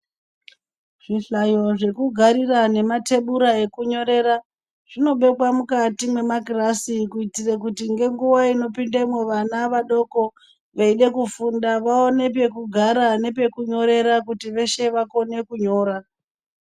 Zvihlayo zvekugarira nematebura ekunyorera zvinobekwa mukati mwemakirasi kuitira kuti ngenguwa inopindamwo vana vadoko veida kufunda vaone pekugara nepekunyorera kuti veshe vakone kunyora.